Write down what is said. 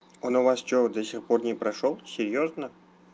он у вас что до сих пор не прошёл серьёзно